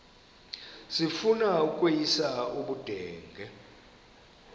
sifuna ukweyis ubudenge